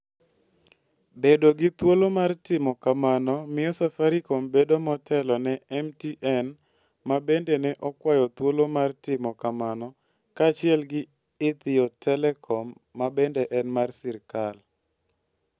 Bedo gi thuolo mar timo kamano miyo Safaricom bedo motelo ne MTN ma bende ne okwayo thuolo mar timo kamano kaachiel gi Ethio Telecom ma bende en mar sirkal.